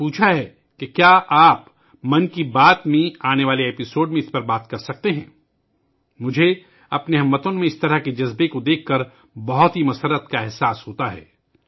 یہ بھی پوچھا ہے کہ کیا آپ 'من کی بات ' کے آنے والے ایپی سوڈ میں اس پر بات کر سکتے ہیں؟ مجھے اپنے ہم وطنوں میں ایسا جذبہ دیکھ کر بہت خوشی ہوتی ہے